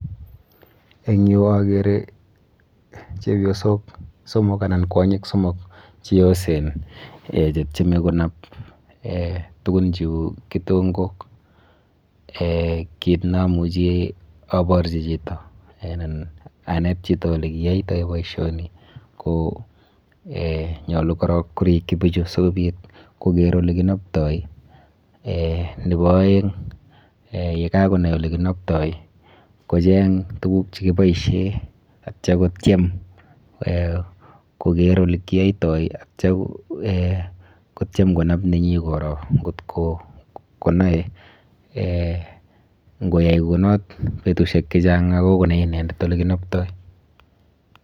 Eng yu akere chepyosok somok anan kwonyik somok cheyosen eh chetyeme konap eh tukun cheu kitonkok. Eh kit neamuchi aborchi chito anan anet chito olekiyoitoi bioisioni ko eh nyolu korok korikchi bichu sikobit koker olekinoptoi. Eh nepo oeng eh yekakonai olekinoptoi kocheng tuguk chekiboishe atya kotyem eh koker olekiyoitoi atya eh kotyem konap nenyi koro nkot konoe eh nkoyai kou not betusiek chechang akoi konai inendet olekinoptoi.